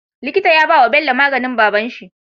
Likita ya bawa Bello maganin babanshi